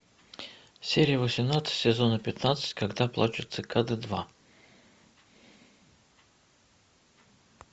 серия восемнадцать сезона пятнадцать когда плачут цикады два